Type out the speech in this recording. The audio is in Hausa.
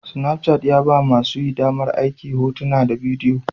Snapchat ya ba masu amfani damar aika hotuna da bidiyo